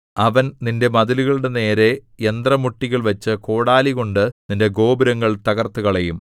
അവൻ നിന്റെ മതിലുകളുടെ നേരെ യന്ത്രമുട്ടികൾ വച്ച് കോടാലികൊണ്ടു നിന്റെ ഗോപുരങ്ങൾ തകർത്തുകളയും